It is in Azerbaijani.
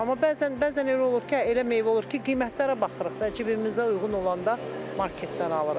Amma bəzən, bəzən elə olur ki, elə meyvə olur ki, qiymətlərə baxırıq da, cibimizə uyğun olanda marketdən alırıq.